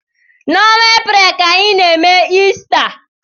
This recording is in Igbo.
N'ọnwa Eprel ka anyị n'eme Ista.